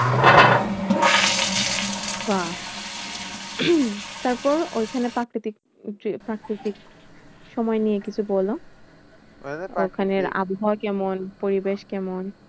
বাহ্ তারপর ঐখানে প্রাকৃতিক প্রাকৃতিক সময় নিয়ে কিছু বলো? ওখানের আবহাওয়া কেমন? পরিবেশ কেমন?